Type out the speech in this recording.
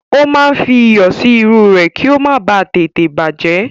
Ó máa ń fi iyọ̀ sí irú rẹ̀ kí ó má ba à tètè bàjẹ́